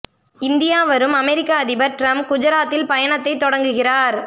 India வரும் அமெரிக்க அதிபர் டிரம்ப் குஜராத்தில் பயணத்தை தொடங்குகிறார்